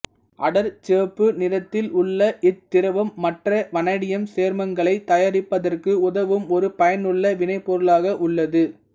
அடர் சிவப்பு நிறத்தில் உள்ள இத்திரவம் மற்ற வனேடியம் சேர்மங்களைத் தயாரிப்பதற்கு உதவும் ஒரு பயனுள்ள வினைப்பொருளாக உள்ளது